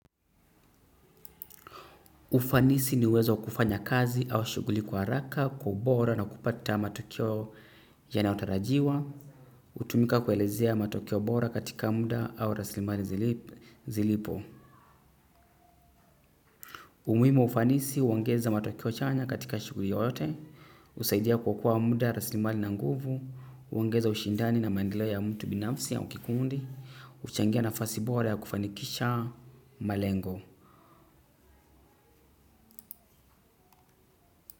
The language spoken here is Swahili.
Ufanisi ni uwezo wa kufanya kazi au shughuli kwa haraka, kwa ubora na kupata matokeo yanayotarajiwa, hutumika kuelezea matokeo bora katika muda au rasilimali zilipo. Umuhimu wa ufanisi, huongeza matokeo chanya katika shughuli yoyote, husaidia kuokoa muda, rasilimali na nguvu, huongeza ushindani na maendeleo ya mtu binafsi au kikundi, huchangia nafasi bora ya kufanikisha malengo.